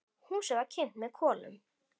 Húsið var kynt með kolum.